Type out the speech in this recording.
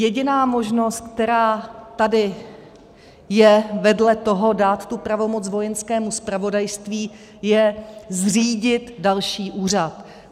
Jediná možnost, která tady je vedle toho dát tu pravomoc Vojenskému zpravodajství, je zřídit další úřad.